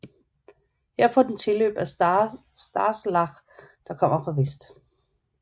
Her får den tilløb fra Starzlach der kommer fra vest